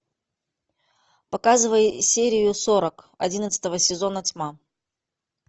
показывай серию сорок одиннадцатого сезона тьма